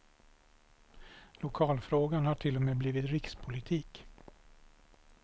Lokalfrågan har till och med blivit rikspolitik.